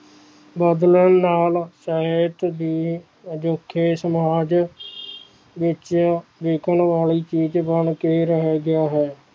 ਬਦਲਣ ਨਾਲ ਸਾਹਿਤ ਦੀ ਅਨੁੱਖੇ ਸਮੱਜ ਵਿਚ ਲਿਖਣ ਵਾਲੀ ਚੀਜ ਬਣ ਕੇ ਰਹਿ ਗਿਆ ਹੈ